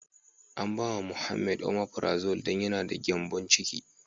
An ba ma Muhammed " omeprazole " don yana da gyanbon ciki.